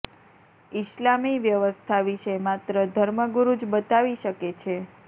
ઈસ્લામી વ્યવસ્થા વિશે માત્ર ધર્મગુરૂ જ બતાવી શકે છે